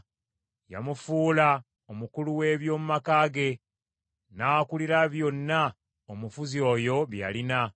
Yamufuula omukulu w’eby’omu maka ge, n’akulira byonna omufuzi oyo bye yalina;